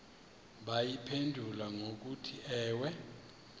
bayiphendule ngokuthi ewe